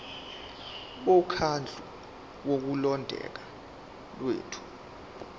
bomkhandlu wokulondeka kwethu